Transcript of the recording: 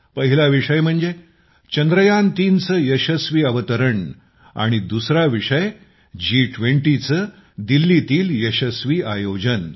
पहिला विषय म्हणजे चंद्रयान3चे यशस्वी अवतरण आणि दुसरा विषय जी20चे दिल्लीतील यशस्वी आयोजन